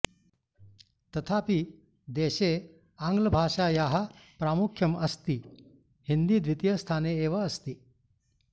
तथापि देशे आङ्ग्लभाषायाः प्रामुख्यम् अस्ति हिन्दी द्वीतीयस्थाने एव अस्ति